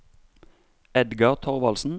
Edgar Thorvaldsen